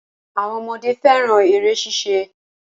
Àwọn ọmọdé fẹ́ran eré ṣíṣe